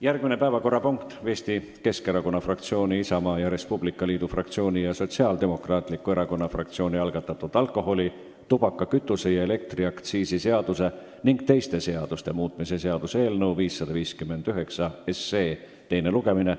Järgmine päevakorrapunkt on Eesti Keskerakonna fraktsiooni, Isamaa ja Res Publica Liidu fraktsiooni ning Sotsiaaldemokraatliku Erakonna fraktsiooni algatatud alkoholi-, tubaka-, kütuse- ja elektriaktsiisi seaduse ning teiste seaduste muutmise seaduse eelnõu 559 teine lugemine.